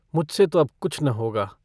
मुझसे तो अब कुछ न होगा।